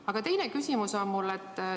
Aga teine küsimus on mul selline.